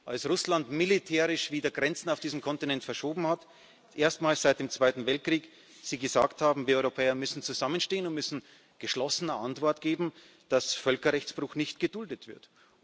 als Russland militärisch wieder Grenzen auf diesem Kontinent verschoben hat erstmals seit dem Zweiten Weltkrieg Sie gesagt haben Wir Europäer müssen zusammenstehen und müssen eine geschlossene Antwort geben, dass Völkerrechtsbruch nicht geduldet wird.